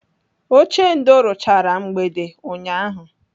Ochendo ruchara mgbede ụnyaahụ.